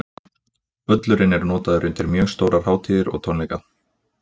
Völlurinn er notaður undir mjög stórar hátíðir og tónleika.